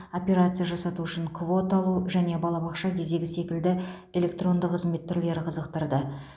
операция жасату үшін квота алу және балабақша кезегі секілді электронды қызмет түрлері қызықтырды